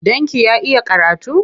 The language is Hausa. Ɗanki ya iya karatu?